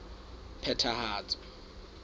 phethahatso